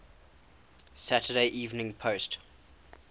saturday evening post